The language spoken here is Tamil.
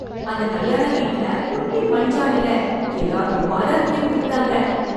அந்த கல்யாண வீட்ல குட்டி மண் ஜாடில எல்லாருக்கும் பாதாம் கீர் கொடுத்தாங்க.